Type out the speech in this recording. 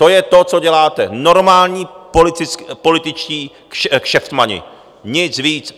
To je to, co děláte, normální političtí kšeftmani, nic víc.